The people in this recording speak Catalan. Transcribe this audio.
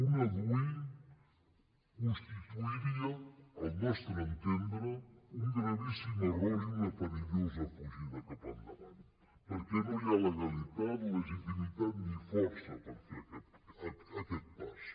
una dui constituiria al nostre entendre un gravíssim error i una perillosa fugida cap endavant perquè no hi ha legalitat legitimitat ni força per fer aquest pas